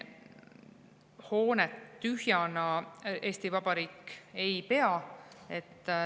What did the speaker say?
Hoonet tühjana Eesti Vabariik ei pea.